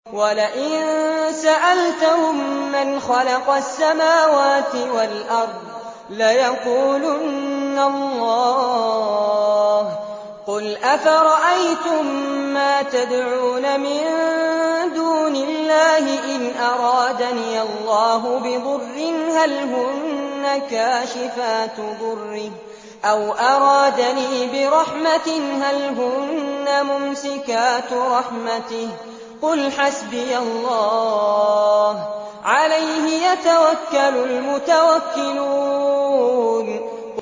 وَلَئِن سَأَلْتَهُم مَّنْ خَلَقَ السَّمَاوَاتِ وَالْأَرْضَ لَيَقُولُنَّ اللَّهُ ۚ قُلْ أَفَرَأَيْتُم مَّا تَدْعُونَ مِن دُونِ اللَّهِ إِنْ أَرَادَنِيَ اللَّهُ بِضُرٍّ هَلْ هُنَّ كَاشِفَاتُ ضُرِّهِ أَوْ أَرَادَنِي بِرَحْمَةٍ هَلْ هُنَّ مُمْسِكَاتُ رَحْمَتِهِ ۚ قُلْ حَسْبِيَ اللَّهُ ۖ عَلَيْهِ يَتَوَكَّلُ الْمُتَوَكِّلُونَ